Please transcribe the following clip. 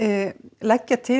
leggja til